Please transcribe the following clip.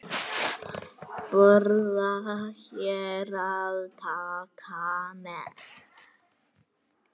Borða hér eða taka með?